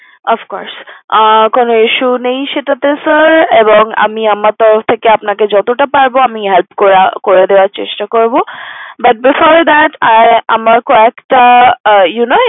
Ofcourse কোনো issue নেই sir আমি আমার তরফ যতটা পারবো help করে দেওয়ার চেষ্টা করবো but before that আমার কয়েকটা you know